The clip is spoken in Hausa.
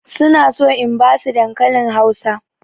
Su na so in ba su dankalin Hausa.